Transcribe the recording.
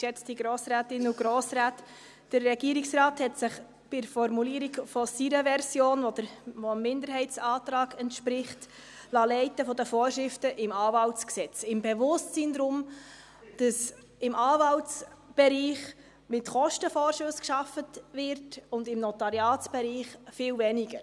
Der Regierungsrat hat sich bei der Formulierung seiner Version, die dem Minderheitsantrag entspricht, von den Vorschriften im Anwaltsgesetz leiten lassen, im Bewusstsein, dass im Anwaltsbereich mit Kostenvorschüssen gearbeitet wird und im Notariatsbereich viel weniger.